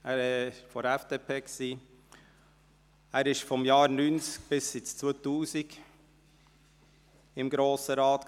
er gehörte der FDP an und war von 1990–2000 im Grossen Rat.